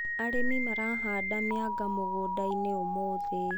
Arĩmi marahanda mĩanga mũgũndainĩ ũmũthĩ.